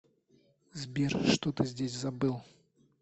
сбер что ты здесь забыл